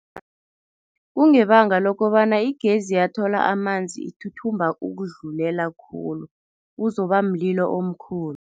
Kungebanga lokobana igezi yathola amanzi ithuthumba ukudlulela khulu, kuzoba mlilo omkhulu.